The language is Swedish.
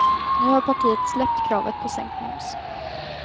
Nu har partiet släppt kravet på sänkt moms.